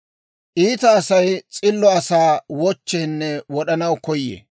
Iita Asay s'illo asaa wochcheenne wod'anaw koyee.